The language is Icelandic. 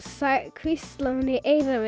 hvíslaði í eyrað